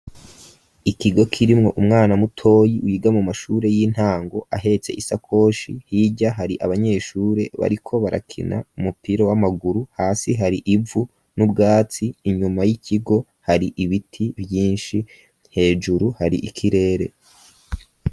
Ikigo kirimwo umwana mutoyi ,yiga mu mashure y'intango, ahetse isakoshi hirya hari abanyeshure bariko barakina umupira w'amaguru, hasi hari ivu ,n'ubwatsi, inyuma y'ikigo hari Ibiti vyinshi hejuru hari ikirere.